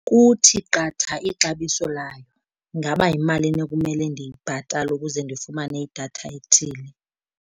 Kuthi qatha ixabiso layo. Ingaba yimalini ekumele ndiyibhatale ukuze ndifumane idatha ethile?